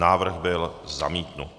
Návrh byl zamítnut.